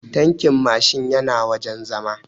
Tankin Mashin yana wajen zama